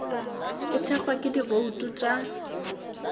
e thekgwa ke dibouto tša